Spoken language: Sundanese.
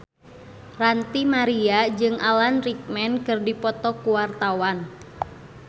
Ranty Maria jeung Alan Rickman keur dipoto ku wartawan